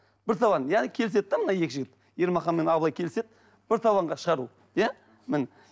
бір табан яғни келіседі де мына екі жігіт ермахан мен абылай келіседі бір табанға шығады ол иә міне